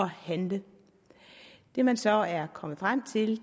handle det man så er kommet frem til